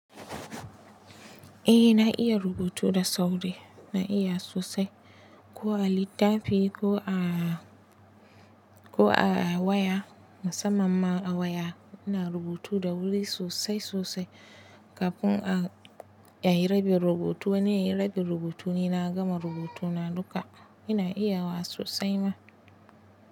Eh na iya rubutu da sauri, na iya sosai. Ko a littafi ko a waya, musamman a waya ina rubutu da wuri sosai sosai. Kafin a, a yi rabin rubutu, ni in yi rabin rubutu ni na gama rubutuna duka. Ina iya wa sosai ma.